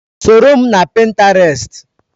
Soro m na Pinterest!